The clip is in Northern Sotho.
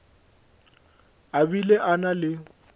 a bile a na le